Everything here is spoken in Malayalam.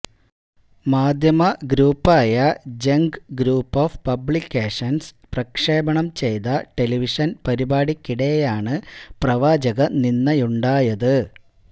മാധ്യമ ഗ്രൂപ്പായ ജംഗ് ഗ്രൂപ്പ് ഓഫ് പബ്ലിക്കേഷന്സ് പ്രക്ഷേപണം ചെയ്ത ടെലിവിഷന് പരിപാടിക്കിടെയാണ് പ്രവാചക നിന്ദയുണ്ടായത്